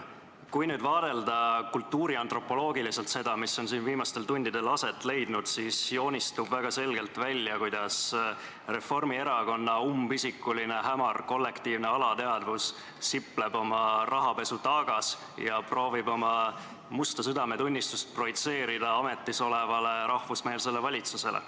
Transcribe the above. Kui vaadelda kultuuriantropoloogiliselt seda, mis siin viimastel tundidel on aset leidnud, siis joonistub väga selgelt välja, kuidas Reformierakonna umbisikuline hämar kollektiivne alateadvus sipleb oma rahapesutaagas ja proovib oma musta südametunnistust projitseerida ametis olevale rahvusmeelsele valitsusele.